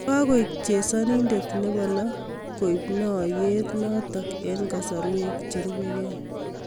Kakoek chesanindet nebo lo koib naaryeet nootok eng' kasartosiek cherubegei.